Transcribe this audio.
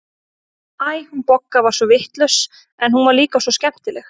Æ, hún Bogga var svo vitlaus, en hún var líka svo skemmtileg.